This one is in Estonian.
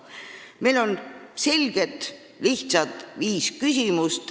Meil on viis selget ja lihtsat küsimust.